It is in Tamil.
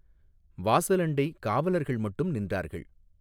வாசலண்டை காவலர்கள் மட்டும் நின்றார்கள்.